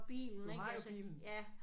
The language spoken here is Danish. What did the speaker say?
Du har jo bilen